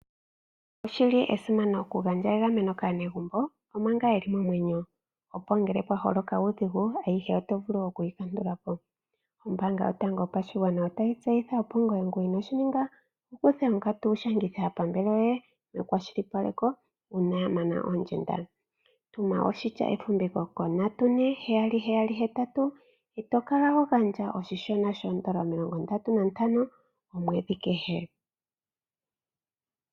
Oshi li esimano okugandja egameno kaanegumbo omanga ye li momwenyo, opo ngele pwa holoka uudhigu ayihe oto vulu okuyi kandula po. Ombaanga yotango yopashigwana otayi tseyitha, opo ngoye ngu inoo shi ninga wu kuthe onkatu wu shangithe aapambele yoye nekwashilipaleko uuna ya mana oondjenda. Tuma oshitya efumviko ko 34778, e to kala ho gandja oshishona sho N$ 35 omwedhi kehe.